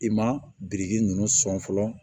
I ma biriki ninnu sɔn fɔlɔ